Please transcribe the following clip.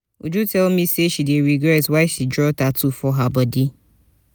uju tell me say she dey regret why she draw tattoo for her body